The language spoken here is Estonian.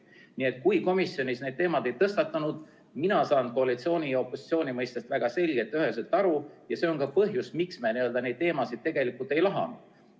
Nii et kui komisjonis need teemad ei tõstatunud – mina saan koalitsiooni ja opositsiooni mõistest väga selgelt ja üheselt aru –, siis see on ka põhjus, miks me neid teemasid tegelikult ei lahanud.